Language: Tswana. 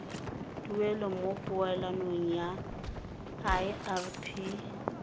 tuelo mo poelong ya irp